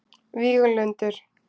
Víglundur